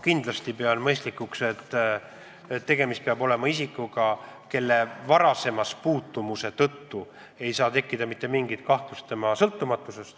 Ma pean mõistlikuks, et tegemist peab olema isikuga, kelle puhul ei saa tekkida mitte mingit kahtlust tema sõltumatuses.